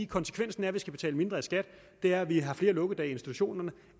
konsekvensen af at vi skal betale mindre i skat er at vi har flere lukkedage i institutionerne